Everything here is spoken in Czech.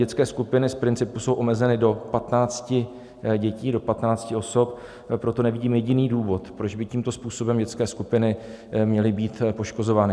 Dětské skupiny z principu jsou omezeny do 15 dětí, do 15 osob, proto nevidím jediný důvod, proč by tímto způsobem dětské skupiny měly být poškozovány.